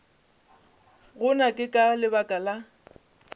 gona ke ka lebaka la